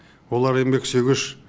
олар еңбексүйгіш